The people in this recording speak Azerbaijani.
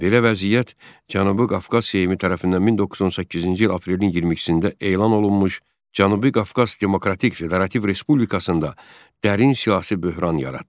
Belə vəziyyət Cənubi Qafqaz Seymi tərəfindən 1918-ci il aprelin 22-də elan olunmuş Cənubi Qafqaz Demokratik Federativ Respublikasında dərin siyasi böhran yaratdı.